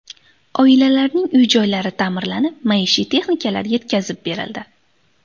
Oilalarning uy-joylari ta’mirlanib, maishiy texnikalar yetkazib berildi.